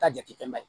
Ka jate bɛn